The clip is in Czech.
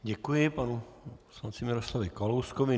Děkuji panu poslanci Miroslavu Kalouskovi.